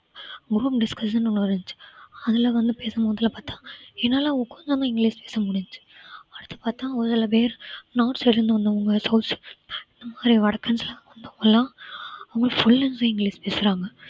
group discussion ன்னு ஒண்ணு இருந்துச்சு அதுல வந்து பேசும்போது பார்த்தால் என்னால கொஞ்சம் தான் english பேச முடிஞ்சுச்சு அடுத்து பார்த்தால் ஒரு சில பேர் north side ல இருந்து வந்தவங்க south side ல இருந்து வந்தவங்க வடக்கன்ஸ் எல்லாம் வந்து full அ அவங்க fluent english பேசுறாங்க